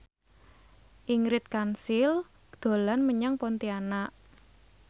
Ingrid Kansil dolan menyang Pontianak